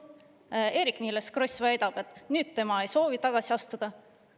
Nüüd Eerik-Niiles Kross väidab, et tema ei soovi tagasi astuda.